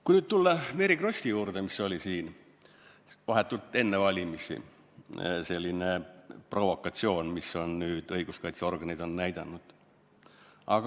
Kui nüüd tulla Mary Krossi juhtumi juurde, see oli vahetult enne valimisi selline provokatsioon, nagu nüüd õiguskaitseorganid on näidanud.